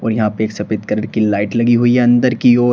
और या पे एक सफेद कलर की लाइट लगी हुई है अंदर की ओर।